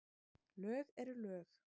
Lög eru lög.